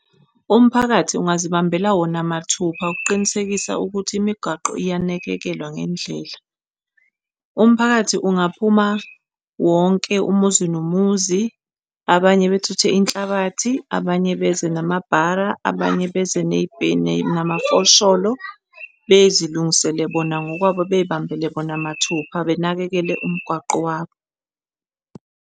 Umphakathi ungazibambela wona mathupha ukuqinisekisa ukuthi imigwaqo iyanakekelwa ngendlela. Umphakathi ungaphuma wonke umuzi nomuzi, abanye bethuthe inhlabathi, abanye beze namabhala, abanye beze namafosholo, bezilungisele bona ngokwabo beyibambele bona mathupha benakekele umgwaqo wabo.